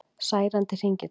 Særandi hringitónn